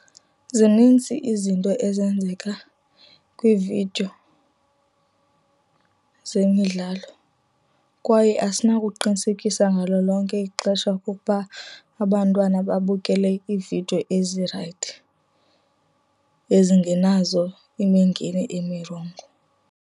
Zinintsi izinto ezenzeka kwiividiyo zemidlalo. Kwaye asinokuqinisekisa ngalo lonke ixesha okokuba abantwana babukele iividiyo ezirayithi ezingenazo imingeni imirongo.